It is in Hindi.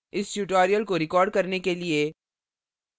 इस tutorial को record करने के लिए